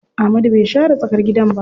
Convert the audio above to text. Amadu bai share tsakar gidan ba.